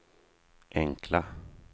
enkla